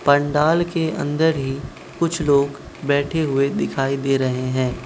पंडाल के अंदर ही कुछ लोग बैठे हुए दिखाई दे रहे हैं।